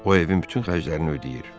O evin bütün xərclərini ödəyir.